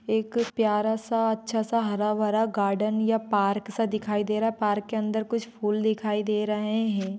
एक प्यारा सा अच्छा सा हरा-भरा गार्डन या पार्क सा दिखाई दे रहा है पार्क के अंदर कुछ फूल दिखाई दे रहे हैं।